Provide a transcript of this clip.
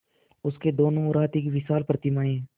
उसके दोनों ओर हाथी की विशाल प्रतिमाएँ हैं